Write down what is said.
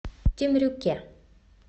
темрюке